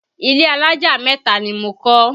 Ilé alájà mẹ́ta ni mo kọ́